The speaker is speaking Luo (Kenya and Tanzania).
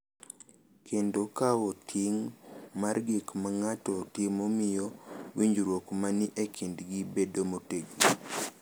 Kendo kawo ting’ mar gik ma ng’ato timo miyo winjruok ma ni e kindgi bedo motegno